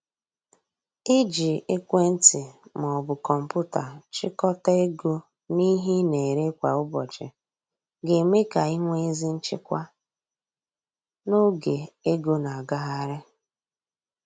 Iji ekwentị ma ọ bụ kọmpụta chịkọta ego na ihe ị na-ere kwa ụbọchị ga eme ka i nwee ezi nchịkwa n’oge ego na agagharị